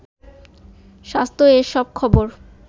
স্বাস্থ্য-এর সব খবর